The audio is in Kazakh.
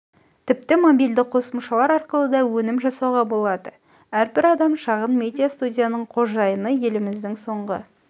тіпті мобильді қосымшалар арқылы да өнім жасауға болады әрбір адам шағын медиа студияның қожайыны елімізде соңғы